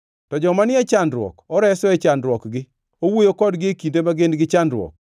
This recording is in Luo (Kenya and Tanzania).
To joma ni e chandruok oreso e chandruokgi; owuoyo kodgi e kinde ma gin gi chandruok.